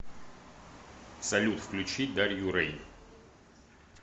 салют включи дарью рэйн